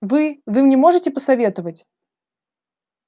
вы вы мне можете посоветовать